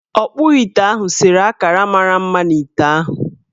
Ọkpụite ahụ sere akara mara mma n' ite ahụ.